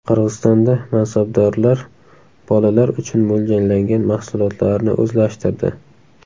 Qirg‘izistonda mansabdorlar bolalar uchun mo‘ljallangan mahsulotlarni o‘zlashtirdi.